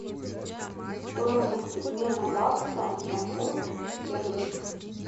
стоимость обмена бакса на фунт стерлинг